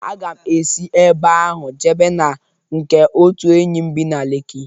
Aga m esi ebe ahụ jebe na nke otu enyi m bi na Leki.